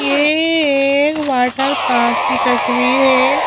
यह एक water park की तस्वीर है।